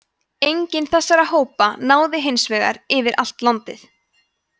enginn þessara hópa náði hins vegar yfir allt landið